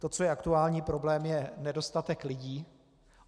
To, co je aktuální problém, je nedostatek lidí.